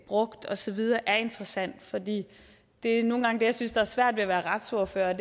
brugt og så videre det er interessant for det det er nogle gange det jeg synes er svært ved at være retsordfører